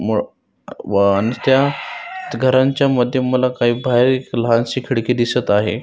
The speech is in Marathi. आणि त्या घरांच्या मध्ये मला काही बाहेर लहानशी खिडकी दिसत आहे.